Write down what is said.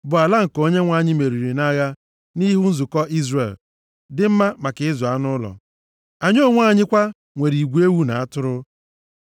bụ ala nke Onyenwe anyị meriri nʼagha nʼihu nzukọ Izrel, dị mma maka ịzụ anụ ụlọ. Anyị onwe anyị kwa nwere igwe ewu na atụrụ.